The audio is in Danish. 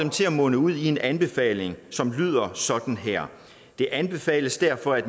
munder ud i en anbefaling som lyder sådan her det anbefales derfor at